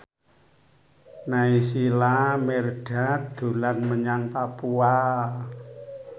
Naysila Mirdad dolan menyang Papua